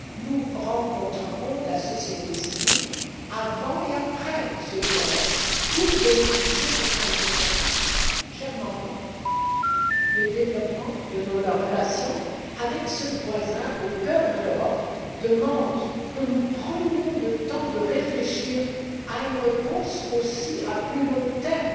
Nous rencontrerons la société civile avant et après ce dialogue pour bénéficier de son expertise. Chers membres, le développement de nos relations avec ce voisin situé au cœur de l'Europe demande que nous prenions le temps de réfléchir à une réponse, également à plus long terme,